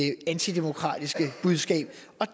det antidemokratiske budskab